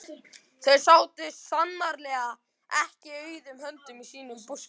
Þau sátu sannarlega ekki auðum höndum í sínum búskap.